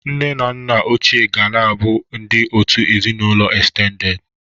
Nne na nna ochie ga na-abụ ndị òtù ezinụlọ estendedị.